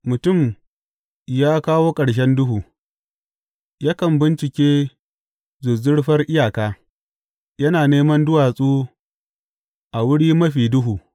Mutum ya kawo ƙarshen duhu; yakan bincike zuzzurfar iyaka, yana neman duwatsu a wuri mafi duhu.